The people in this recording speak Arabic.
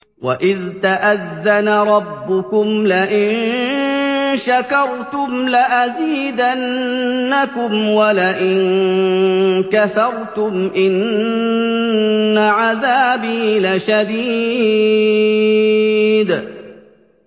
وَإِذْ تَأَذَّنَ رَبُّكُمْ لَئِن شَكَرْتُمْ لَأَزِيدَنَّكُمْ ۖ وَلَئِن كَفَرْتُمْ إِنَّ عَذَابِي لَشَدِيدٌ